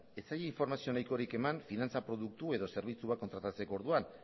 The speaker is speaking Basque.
ez zaie informazio nahikorik eman finantza produktu edo zerbitzu bat kontratatzerako orduan